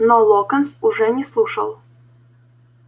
но локонс уже не слушал